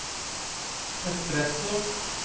espresso